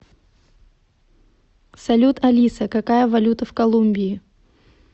салют алиса какая валюта в колумбии